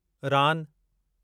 रान